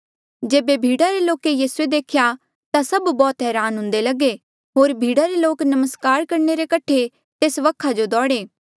जेबे भीड़ा रे लोके यीसू देख्या ता सभ बौह्त हरान हुंदे लगे होर भीड़ा रे लोक नमस्कार करणे रे कठे तेस वखा जो दौड़े